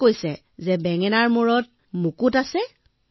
তোমাক কোনে কলে যে বেঙেনাৰ শিৰত মুকুট আছে